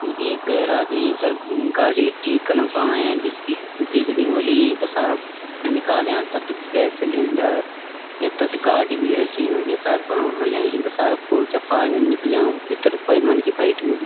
यु एक गैराज इ फर गाडी ठीक कनकु आंया जु बिगड़ी ह्वली इका सारा निकाल्या तत गैस सिलेंडर यक तत गाडी बि रखीं हो या सायद बणौण ल्याई इका सारा पुर्जा पारजा निकल्या भितर क्वे मनखी बैठ्यु बि।